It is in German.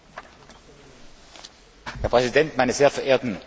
Herr Präsident, meine sehr verehrten Damen und Herren Abgeordnete!